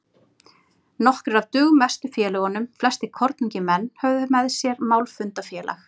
Nokkrir af dugmestu félögunum, flestir kornungir menn, höfðu með sér málfundafélag